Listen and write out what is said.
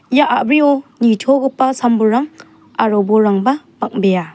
ia a·brio nitogipa sam-bolrang aro bolrangba bang·bea.